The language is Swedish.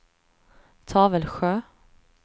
Tavelsjö